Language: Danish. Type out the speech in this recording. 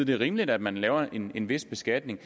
det er rimeligt at man laver en en vis beskatning